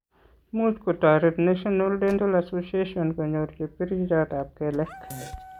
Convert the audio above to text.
Much ko toret National Dental Association kony'or chepkerchotap kelek.